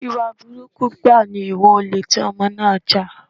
Ìwà burúkú gbáà ni ìwà olè tí Ọmọ náà jà.